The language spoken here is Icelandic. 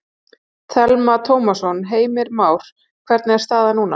Telma Tómasson: Heimir Már, hvernig er staðan núna?